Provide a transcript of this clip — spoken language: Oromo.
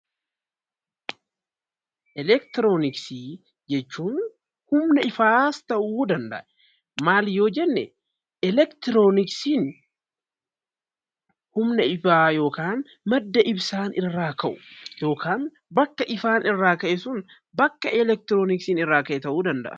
Elektirooniksii jechuun humna ifaaf ta'uu danda'a. Maali yoo jenne elektirooniksiin humna ifaa yookaan madda ibsaan irraa ka'u yookaan bakka ifaa irraa ka'e sun bakka elektirooniksiin irraa ka'e ta'uu danda'a.